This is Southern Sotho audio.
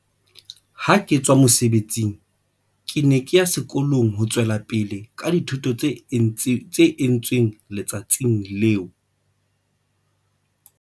Ha ke tswa mosebetsing, ke ne ke ya sekolong ho tswela pele ka dithuto tse entsweng le tsatsing leo.